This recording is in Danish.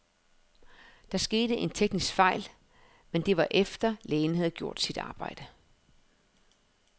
Der skete en teknisk fejl, men det var efter, lægen havde gjort sit arbejde.